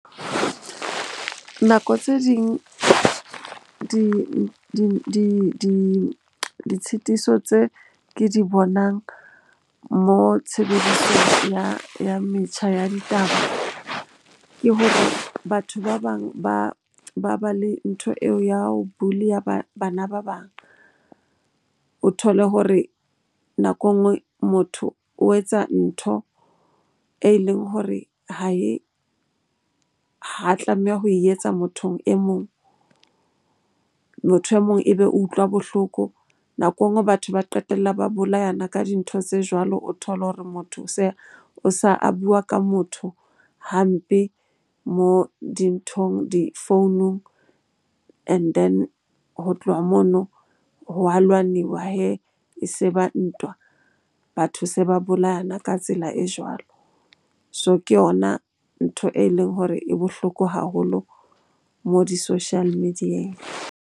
Nako tse ding ditshitiso tse ke di bonang mo tshebediso ya metjha ya ditaba ke hore batho ba bang ba ba le ntho eo ya ho bully-a bana ba bang. O thole hore nako enngwe motho o etsa ntho e leng hore ha e, ha tlameha ho e etsa mothong e mong. Motho e mong ebe o utlwa bohloko, nako enngwe batho ba qetella ba bolayana ka dintho tse jwalo. O thole hore motho o sa a bua ka motho hampe, moo dinthong difounung and then ho tloha mono ho a lwaniwa hee. E se ba ntwa, batho se ba bolayana ka tsela e jwalo. So, ke yona ntho e leng hore e bohloko haholo mo di-social media-eng.